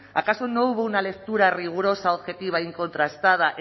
acaso no hubo una lectura rigurosa objetiva y contrastada